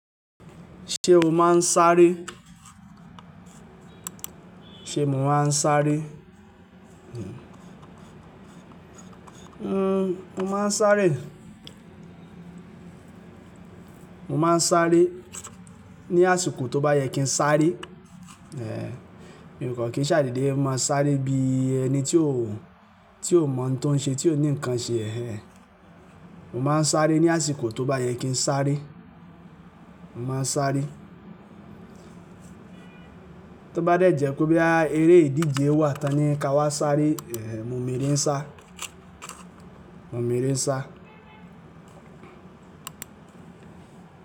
Ṣé o máa ń sáré? Mo máa ń sáré mo máa ń sáré. Mo máa ń sáré ní àsìkò tó bá yẹ kí n sáré. Ehn, mí ò kàn kí n ṣàde dé, máa sáré bí ẹni tí ó, tí ó mọ ń tọ́n ṣe, tí ó ní nǹkan ṣe. Ehn, mo máa ń sáré ní àsìkò tó bá yẹ kí n sáré. Mo máa ń sáré. Tó bá dẹ jẹ́ pé boya eré ìdíje wà tán ni ká wá sáré, ehn, mo mo ere sá. Mo lè rí sá.